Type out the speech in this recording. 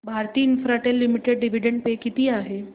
Bharti Infratel limited dividend pay किती आहे